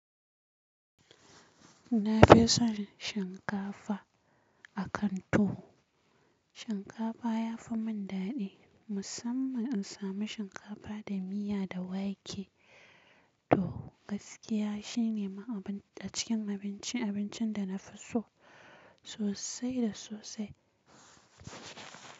Na fi son shinkafa a kanto. Shinkafa ya fi mun dadi. Musamman in sami shinkafa da miya da wake to gaskiya shine a cikin abincin abincin da na fi so sosai da sosai.